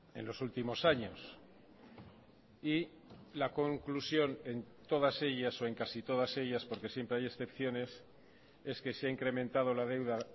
en los últimos años y la conclusión en todas ellas o en casi todas ellas porque siempre hay excepciones es que se ha incrementado la deuda